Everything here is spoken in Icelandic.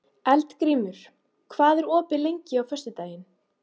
Eldgrímur, hvað er opið lengi á föstudaginn?